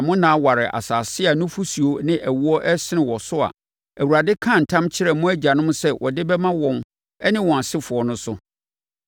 na mo nna aware asase a nufosuo ne ɛwoɔ resene wɔ so a Awurade kaa ntam kyerɛɛ mo agyanom sɛ ɔde bɛma wɔn ne wɔn asefoɔ no so.